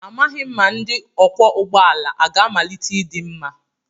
Amaghị m ma ndi ọkwọ ụgbọ ala ga-amalite ịdị mma.